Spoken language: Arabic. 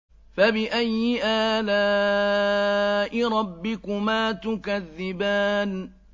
فَبِأَيِّ آلَاءِ رَبِّكُمَا تُكَذِّبَانِ